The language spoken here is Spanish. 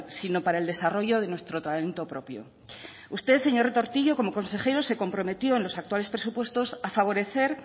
sino para el desarrollo de nuestro talento propio usted señor retortillo como consejero se comprometió en los actuales presupuestos favorecer